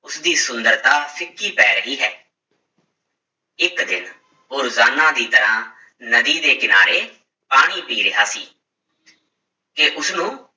ਉਸਦੀ ਸੁੰਦਰਤਾ ਫਿਕੀ ਪੈ ਰਹੀ ਹੈ ਇੱਕ ਦਿਨ ਉਹ ਰੋਜ਼ਾਨਾ ਦੀ ਤਰ੍ਹਾਂ ਨਦੀ ਦੇ ਕਿਨਾਰੇ ਪਾਣੀ ਪੀ ਰਿਹਾ ਸੀ ਕਿ ਉਸਨੂੰ